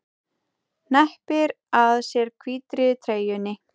Hneppir að sér hvítri treyjunni.